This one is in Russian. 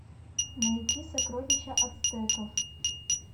найти сокровища ацтеков